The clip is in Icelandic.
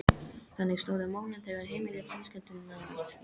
Þannig stóðu málin þegar heimili fjölskyldunnar eyði